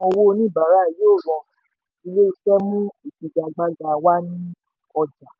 ó sọ pé: sísan owó oníbàárà yóò rọrùn ilé iṣẹ́ mú ìfagagbága wà ní ọjà.